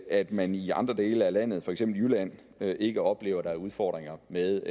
at man i andre dele af landet for eksempel i jylland ikke oplever at der er udfordringer med